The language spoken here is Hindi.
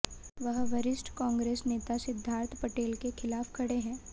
वह वरिष्ठ कांग्रेस नेता सिद्धार्थ पटेल के खिलाफ खड़े हैं